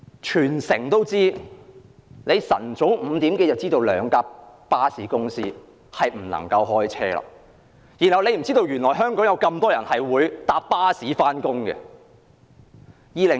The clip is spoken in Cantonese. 特首早在清晨5時已經知道兩間巴士公司不能提供服務，但她卻不知道香港有很多人乘坐巴士上班。